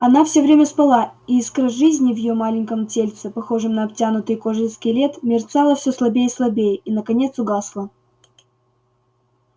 она всё время спала и искра жизни в её маленьком тельце похожем на обтянутый кожей скелет мерцала все слабее и слабее и наконец угасла